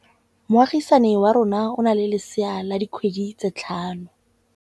Moagisane wa rona o na le lesea la dikgwedi tse tlhano.